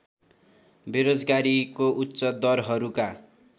बेरोजगारीको उच्च दरहरूका